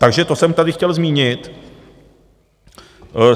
Takže to jsem tady chtěl zmínit.